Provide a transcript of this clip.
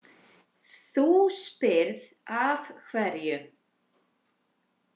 Þú spyrð af hverju.